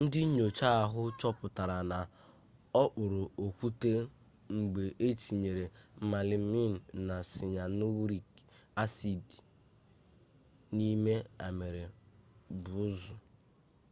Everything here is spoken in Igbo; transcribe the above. ndị nnyocha ahụ chọpụtara na ọ kpụrụ okwute mgbe e tinyere melamin na siyanurik asid n'ime amịrị buusu